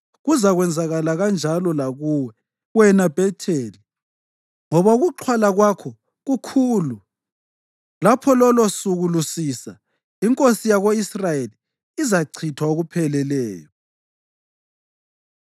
Kuzakwenzakala kanjalo lakuwe, wena Bhetheli, ngoba ukuxhwala kwakho kukhulu. Lapho lolosuku lusisa, inkosi yako-Israyeli izachithwa okupheleleyo.”